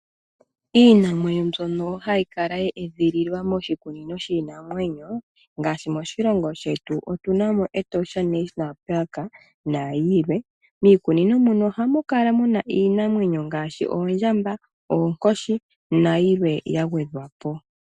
Iinamwenyo mbyoka hayi kala ye edhililwa moshikunino shiinamwenyo ngaashi moshilongo shetu otunamo Etosha National Park nayilwe. Miikunino muno ohamu kala muna iinamwenyo ngaashi oondjamba, oonkoshi nayilwe yagwedhwapo.